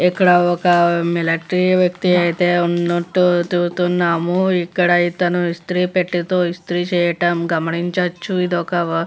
ఇక్కడ ఒక మిలిటరీ వ్యక్తి అయితే ఉన్నట్టు చూస్తున్నాము. ఇక్కడ ఇతను ఇస్త్రీ పెట్టెతోని ఇస్త్రీ చేయటము గమనించవచ్చు ఇది ఒక --